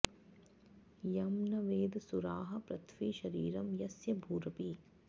यं न वेद सुराः पृथ्वी शरीरं यस्य भूरपि